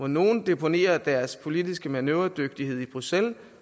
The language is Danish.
nogle deponerer deres politiske manøvredygtighed i bruxelles